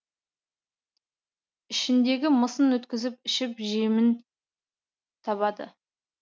ішіндегі мысын өткізіп ішіп жемін табады